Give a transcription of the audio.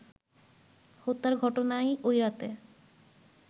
হত্যার ঘটনায় ওই রাতে